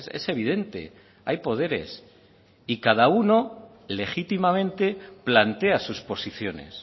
es evidente hay poderes y cada uno legítimamente plantea sus posiciones